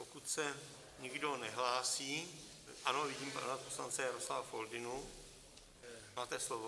Pokud se nikdo nehlásí - ano, vidím pana poslance Jaroslava Foldynu, máte slovo.